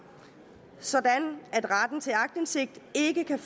sådan at retten til aktindsigt ikke kan